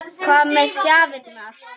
Hvað með gjafir?